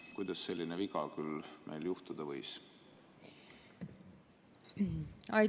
Kuidas selline viga küll juhtuda võis?